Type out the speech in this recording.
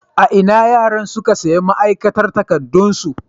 A ina yaran suka sayi ma'aikatan makarantarsu